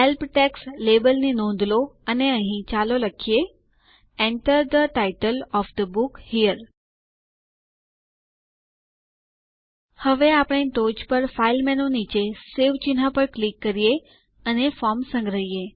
help text label ની નોંધ લો અને અહીં ચાલો લખીએ Enter the title of the book here હવે અમને ટોચ પર ફાઇલ મેનુ નીચે સવે ચિહ્ન પર ક્લિક કરીને ફોર્મ સંગ્રહો